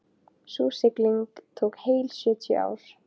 Sú sigling tók heil sjötíu ár.